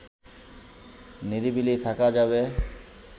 নিরিবিলি থাকা যাবে